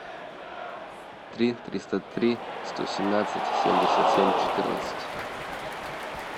три триста три сто семнадцать семьдесят семь четырнадцать